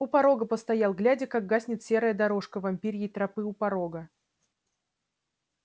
у порога постоял глядя как гаснет серая дорожка вампирьей тропы у порога